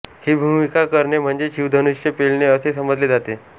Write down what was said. ही भूमिका करणे म्हणजे शिवधनुष्य पेलणे असे समजले जाते